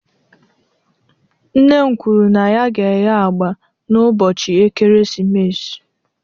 Nne m kwuru na ya ga-eghe agba n'ụbọchị ekeresimesi.